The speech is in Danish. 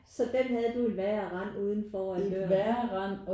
Så den havde du et værre rend ude foran døren